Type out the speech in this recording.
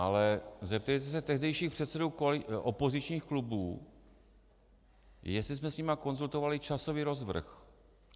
Ale zeptejte se tehdejších předsedů opozičních klubů, jestli jsme s nimi konzultovali časový rozvrh.